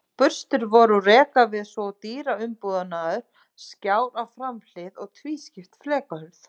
Burstir voru úr rekaviði svo og dyraumbúnaður, skjár á framhlið og tvískipt flekahurð.